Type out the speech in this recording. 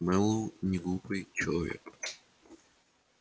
мэллоу неглупый человек